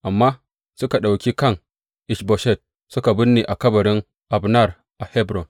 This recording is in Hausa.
Amma suka ɗauki kan Ish Boshet suka binne a kabarin Abner a Hebron.